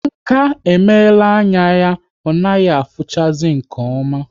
Nka emela anya ya ọ naghị afuchazi nke oma